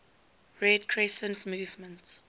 red crescent movement